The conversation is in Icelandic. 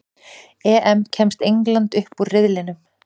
EM: Kemst England upp úr riðlinum?